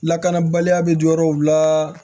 Lakanabaliya bɛ dɔw la